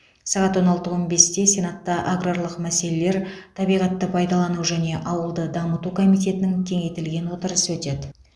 сағат он алты он бесте сенатта аграрлық мәселелер табиғатты пайдалану және ауылды дамыту комитетінің кеңейтілген отырысы өтеді